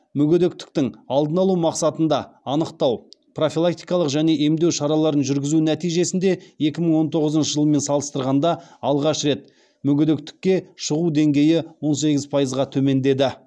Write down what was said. мүгедектіктің алдын алу мақсатында анықтау профилактикалық және емдеу шараларын жүргізу нәтижесінде екі мың он тоғызыншы жылмен салыстырғанда алғаш рет мүгедектікке шығу деңгейі он сегіз пайызға төмендеді